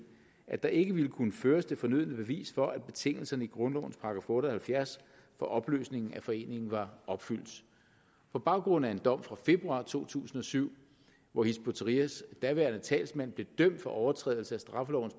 at der ikke ville kunne føres det fornødne bevis for at betingelserne i grundlovens § otte og halvfjerds for opløsning af foreninger var opfyldt på baggrund af en dom fra februar to tusind og syv hvor hizb ut tahrirs daværende talsmand blev dømt for overtrædelse af straffelovens